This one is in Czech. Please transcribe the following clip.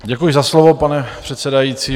Děkuji za slovo, pane předsedající.